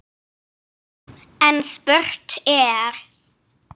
En spurt er: